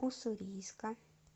уссурийска